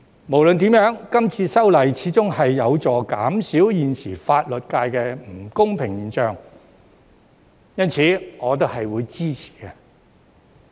無論如何，今次修例始終有助減少現時法律界的不公平現象，因此我也是會支持的。